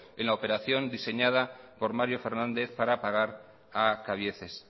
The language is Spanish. en la operación diseñada por mario fernández para pagar a cabieces